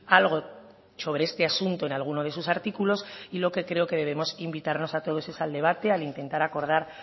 algo sobre este asunto en alguno de sus artículos y lo que creo es que debemos invitarnos todos al debate a intentar acordar